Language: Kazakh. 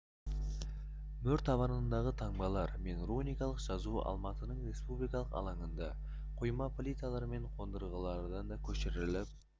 мөр табанындағы таңбалар мен руникалық жазу алматының республика алаңындағы құйма плиталар мен қондырғыларға да көшіріліп